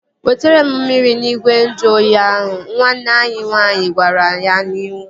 Wetere m mmiri n'igwe nju oyi ahụ! Nwanne ya nwaanyị gwara ya n'iwu